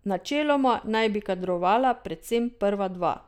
Načeloma naj bi kadrovala predvsem prva dva.